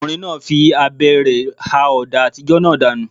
Ọkùnrin náà fi abẹ rẹ̀ ha ọ̀dà àtijọ́ náà dànù.